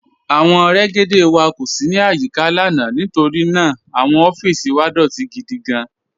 Awọn rẹ́gédé wà kó sì ní ayíkà lána nítorí ná àwọn ọffísì wà dọtì gídí gán.